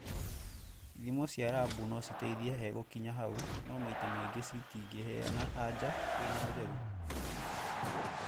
Ithimo cia rabu no citeithie hegũkinya hau no maita maingĩ cĩtingĩheana anja ĩna ũtheri.